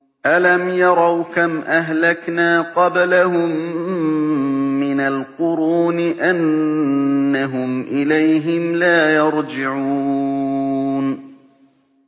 أَلَمْ يَرَوْا كَمْ أَهْلَكْنَا قَبْلَهُم مِّنَ الْقُرُونِ أَنَّهُمْ إِلَيْهِمْ لَا يَرْجِعُونَ